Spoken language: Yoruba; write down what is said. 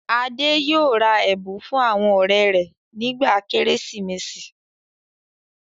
Adé yóò ra ẹ̀bùn fún àwọn ọ̀rẹ́ rẹ̀ nígbà Kérésìmesì.